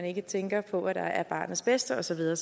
ikke tænker på hvad der er til barnets bedste og så videre